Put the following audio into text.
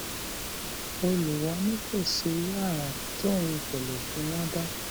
olùwọọ ní kò sí irú àrà tóun kò lè fi wọn dá